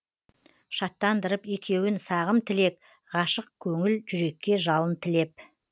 шаттандырып екеуін сағым тілек ғашық көңіл жүрекке жалын тілеп